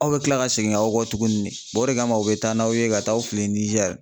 Aw bɛ kila ka segin aw kɔ tuguni , o de kama, u bɛ taa n'aw ye ka taa aw fili Nijɛri.